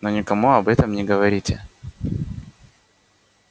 но никому об этом не говорите